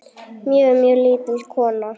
Mjög, mjög lítil kona.